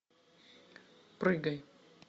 прыгай